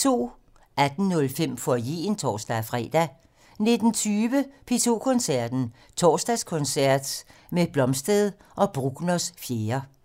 18:05: Foyeren (tor-fre) 19:20: P2 Koncerten - Torsdagskoncert med Blomstedt og Bruckners 4.